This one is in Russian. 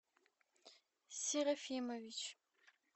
серафимович